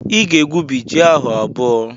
Ị ga-egwubi ji ahụ abụọ!